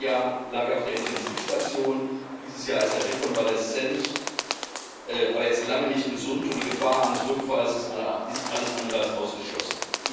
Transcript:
Letztes Jahr lag er auf der Intensivstation, dieses Jahr ist er Rekonvaleszent, aber er ist noch lange nicht gesund, und die Gefahr eines Rückfalls ist alles andere als ausgeschlossen.